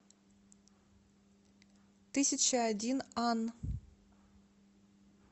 тысячаодинан